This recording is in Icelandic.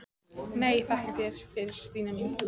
Nei, þakka þér fyrir Stína mín.